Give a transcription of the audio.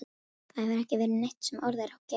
Það hefur ekki verið neitt sem orð er á gerandi.